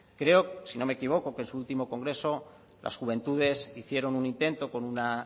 creo si no me equivoco que en su último congreso las juventudes hicieron un intento con una